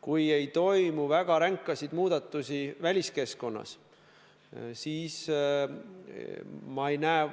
Kui ei toimu väga ränkasid muutusi väliskeskkonnas, siis ma ei näe